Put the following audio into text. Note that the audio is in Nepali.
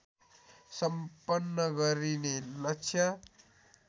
सम्पन्न गरिने लक्ष्य